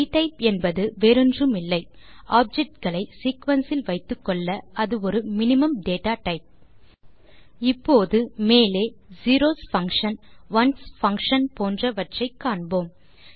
டிடைப் என்பது வேறொன்றுமில்லை ஆப்ஜெக்ட் களை சீக்வென்ஸ் இல் வைத்துக்கொள்ள அது ஒரு மினிமும் டேட்டா டைப் இப்போது மேலே zeros பங்ஷன் ones பங்ஷன் போன்றவற்றை காண்போம்